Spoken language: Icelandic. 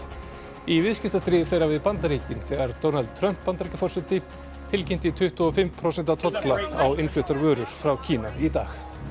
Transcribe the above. í viðskiptastríði þeirra við Bandaríkin þegar Donald Trump Bandaríkjaforseti tilkynnti tuttugu og fimm prósent tolla á innfluttar vörur frá Kína í dag